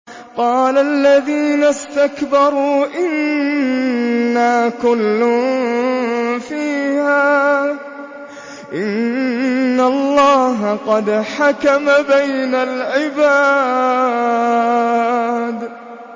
قَالَ الَّذِينَ اسْتَكْبَرُوا إِنَّا كُلٌّ فِيهَا إِنَّ اللَّهَ قَدْ حَكَمَ بَيْنَ الْعِبَادِ